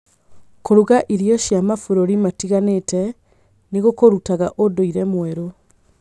Kũruga irio cia mabũrũri matiganĩte nĩ gũkũrutaga ũndũire mwerũ.